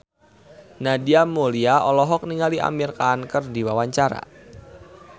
Nadia Mulya olohok ningali Amir Khan keur diwawancara